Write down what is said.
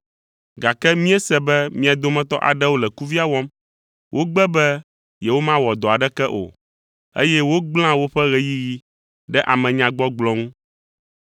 Gake míese be mia dometɔ aɖewo le kuvia wɔm, wogbe be yewomawɔ dɔ aɖeke o, eye wogblẽa woƒe ɣeyiɣi ɖe amenyagbɔgblɔ ŋu.